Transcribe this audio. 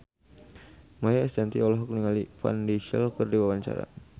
Maia Estianty olohok ningali Vin Diesel keur diwawancara